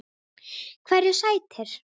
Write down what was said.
Hverju sætir?